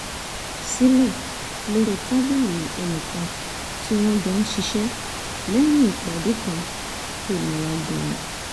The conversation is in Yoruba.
sílẹ̀ lórí tábìlì ẹnì kan tí wọ́n jọ ń ṣiṣẹ́ lẹ́yìn ìpàdé kan tó nira gan-an